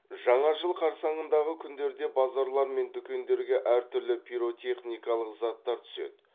жаңа жыл қарсаңындағы күндерде базарлар мен дүкендерге әртүрлі пиротехникалық заттар түседі